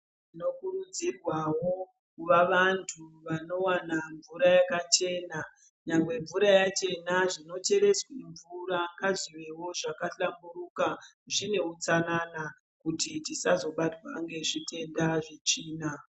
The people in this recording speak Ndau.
Tinokurudzirwavo kuva vantu vanovana mvura yakachena. Nyangwe mvura yachena zvinochereswa mvura ngazvivevo zvakahlamburuka. Zvine hutsanana kuti tisazobatswa ngezvitenda zvetsvina.